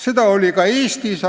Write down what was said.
Seda oli ka Eestis.